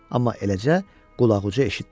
Amma eləcə qulaqucu eşitdi.